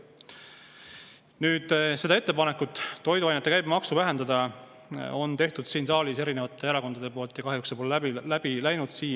Nüüd, selle ettepaneku toiduainete käibemaksu vähendada on siin saalis teinud erinevad erakonnad, aga kahjuks see pole siiamaani läbi läinud.